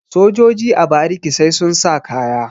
sojoji a bariki sai sun sa kaya